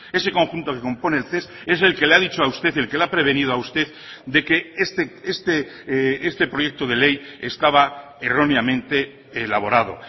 ese conjunto que compone el ces es el que le ha dicho a usted el que le ha prevenido a usted de que este proyecto de ley estaba erróneamente elaborado